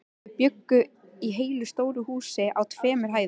Þau bjuggu í heilu stóru húsi á tveimur hæðum.